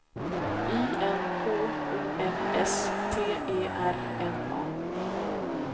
I N K O M S T E R N A